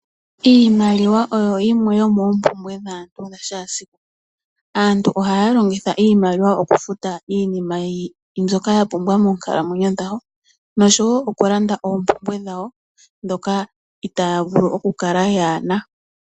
Iimaliwa oyo yimwe yomoompumbwe dhaantu dhakehesiku. Aantu ohaya longitha iimaliwa okufuta iinima mbyoka ya pumbwa moonkalamwenyo dhawo nosho wo okulanda oompumbwe dhawo ndhoka itaaya vulu okukala kaayena.